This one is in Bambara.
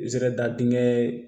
Zere da dingɛ